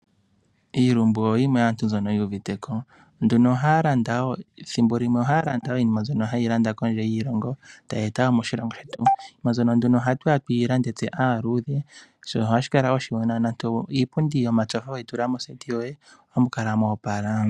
Iilumbu oyo aantu mboka yu uviteko ethimbo limwe ohaa landa wo iinima mbyono haa landa kondje yoshilongo ta ye eta moshilongo shetu iinima mbyono ohatu ya tuyi lande tse mba aaludhe oshinima ohashi kala oshiwanawa nande iipundi yomatsofa weyi tula mohofa ohamu kala mwoopala.